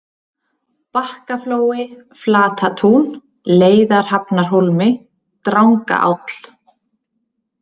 Bakkaflói, Flatatún, Leiðarhafnarhólmi, Drangaáll